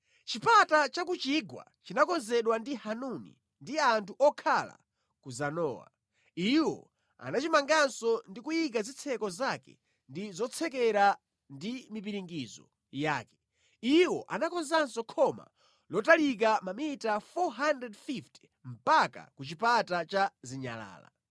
Chipata cha ku chigwa chinakonzedwa ndi Hanuni ndi anthu okhala ku Zanowa. Iwo anachimanganso ndi kuyika zitseko zake ndi zotsekera ndi mipiringidzo yake. Iwo anakonzanso khoma lotalika mamita 450 mpaka ku Chipata cha Zinyalala.